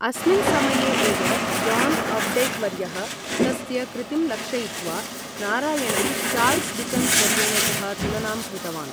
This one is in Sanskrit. अस्मिन् समये एव, जान् अप्डैक् वर्यः तस्य कृतिं लक्षयित्वा, नारायणं चार्ल्स् डिकन्स् वर्येण सह तुलनां कृतवान्।